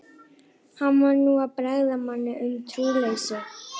Hann var nú að bregða manni um trúleysi.